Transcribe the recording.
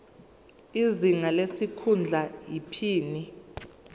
izinga lesikhundla iphini